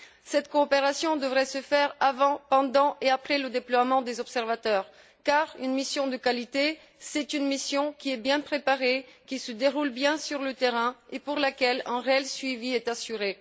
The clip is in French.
Cette coopération devrait se faire avant, pendant et après le déploiement des observateurs car une mission de qualité est une mission qui est bien préparée, qui se déroule bien sur le terrain et pour laquelle un réel suivi est assuré.